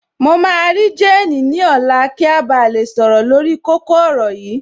Mo máa rí jéènì ní ọ̀la kí a ba lè sọ̀rọ̀ lórí kókó yìí